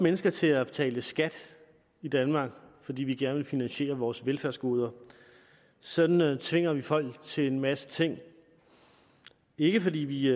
mennesker til at betale skat i danmark fordi vi gerne vil finansiere vores velfærdsgoder sådan tvinger vi folk til en masse ting ikke fordi vi